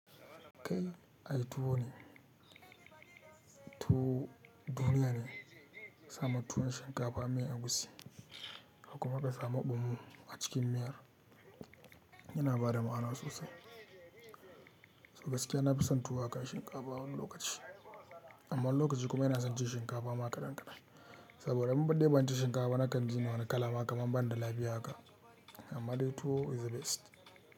Kai ai tuwo ne, tuwo duniya ne, sama tuwo na shinkafa mai egusi, kuma ka sa fomo a cikin miyar yana bada ma'ana sosai. Gaskiya nafi son tuwo akan shinkafa wani lokaci, amma lokaci kuma ina son cin shinkafa ma kaɗan kaɗan. Saboda mun badde ba cin shinkafa na kan gina wani kala ma kaman ba ni da lafiya haka, amma dai tuwo is the best.